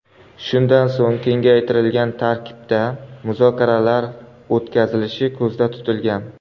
Shundan so‘ng kengaytirilgan tarkibda muzokaralar o‘tkazilishi ko‘zda tutilgan.